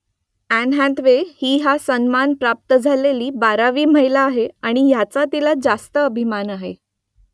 and Hathaway ही हा सन्मान प्राप्त झालेली बारावी महिला आहे आणि याचा तिला रास्त अभिमान आहे